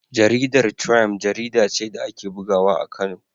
Jaridar Triump jarida ce da ake bugawa a Kano.